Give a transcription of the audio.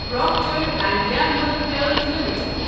Procter and Gamble health limited